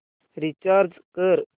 recharge कर